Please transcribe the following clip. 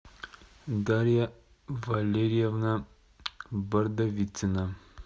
дарья валерьевна бордовицына